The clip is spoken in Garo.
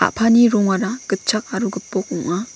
rongara gitchak aro gipok ong·a.